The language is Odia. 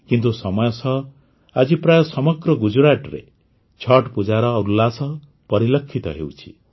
କିନ୍ତୁ ସମୟ ସହ ଆଜି ପ୍ରାୟଃ ସମଗ୍ର ଗୁଜରାଟରେ ଛଠ୍ ପୂଜାର ଉଲ୍ଲାସ ପରିଲକ୍ଷିତ ହେଉଛି